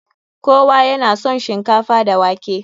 Kowa ya na son shinkafa da wake.